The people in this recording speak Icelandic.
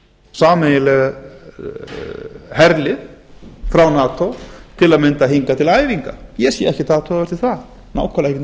sameiginlegt herlið frá nato á m hingað til æfinga ég sé ekkert athugavert við það nákvæmlega ekki nokkurn